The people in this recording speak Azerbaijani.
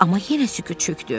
Amma yenə sükut çökdü.